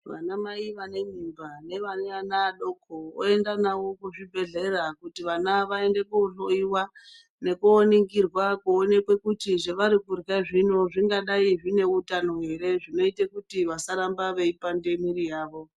Vana mai vane mimba nevane vana vadoko voende navo kuzvibhedhlera kuti vana vaende kohloyiwa nekooningirwa koonekwe kuti zvavari kurya zvino zvingadai zvine utano ere zvinoita kuti vasarambe veipanda mwiri yavo.